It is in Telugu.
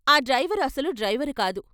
ఆ డ్రైవరు అసలు డ్రైవరుకాదు.